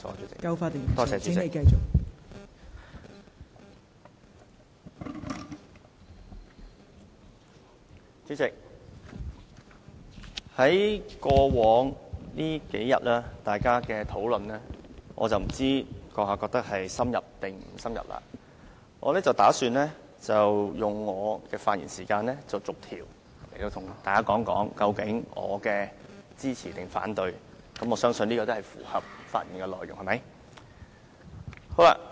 代理主席，我不知道你認為過往數天的討論是否夠深入，不過我打算利用我的發言時間，逐一向大家說明我要支持還是反對每一項修訂，而我相信這也符合發言的規定。